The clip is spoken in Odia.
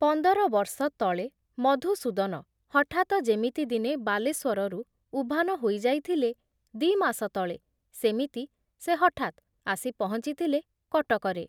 ପନ୍ଦରବର୍ଷ ତଳେ ମଧୁସୂଦନ ହଠାତ ଯେମିତି ଦିନେ ବାଲେଶ୍ଵରରୁ ଉଭାନ ହୋଇଯାଇଥିଲେ, ଦି ମାସ ତଳେ ସେମିତି ସେ ହଠାତ୍ ଆସି ପହଞ୍ଚିଥିଲେ କଟକରେ ।